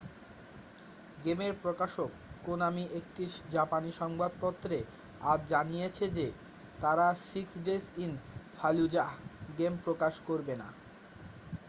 গেমের প্রকাশক konami একটি জাপানি সংবাদপত্রে আজ জানিয়েছে যে তারা six days in fallujah game প্রকাশ করবে না